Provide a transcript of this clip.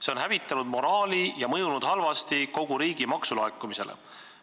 See on hävitanud moraali ja mõjunud halvasti kogu riigi maksulaekumisele.